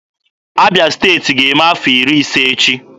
Abịa Steeti ga-eme afọ iri ise echi.